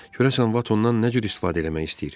Görəsən Vatondan nə cür istifadə eləmək istəyir?